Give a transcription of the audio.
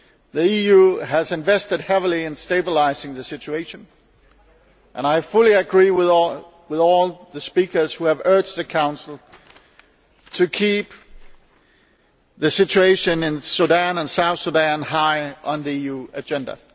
The EU has invested heavily in stabilising the situation, and I fully agree with all the speakers who have urged the Council to keep the situation in Sudan and South Sudan high on the EU agenda.